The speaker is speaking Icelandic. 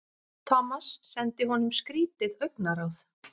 Thomas sendi honum skrýtið augnaráð.